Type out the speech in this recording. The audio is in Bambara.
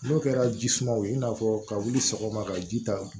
N'o kɛra ji sumaw ye i n'a fɔ ka wuli sɔgɔma ka ji ta